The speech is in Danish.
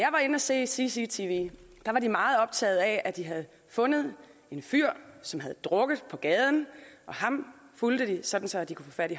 se cctv var de meget optaget af at de havde fundet en fyr som havde drukket på gaden ham fulgte de sådan så de kunne få fat